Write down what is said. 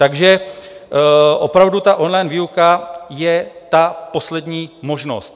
Takže opravdu, on-line výuka je ta poslední možnost.